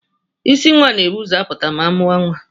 Isi nwa na-ebu ụzọ apụta ma amụea nwa.